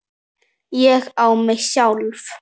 ÉG Á MIG SJÁLF!